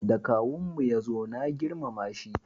Da kawun mu ya zo na girmama shi